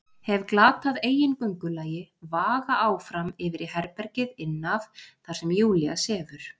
Hef glatað eigin göngulagi, vaga áfram yfir í herbergið inn af þar sem Júlía sefur.